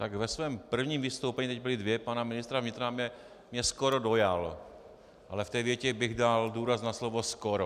Tak ve svém prvním vystoupení, teď byla dvě, pana ministra vnitra mě skoro dojal, ale v té větě bych dal důraz na slovo skoro.